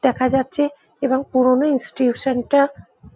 দেখা যাচ্ছে এবং পুরোনো ইনস্টিটিউশন -টা --